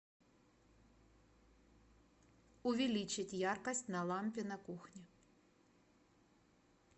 увеличить яркость на лампе на кухне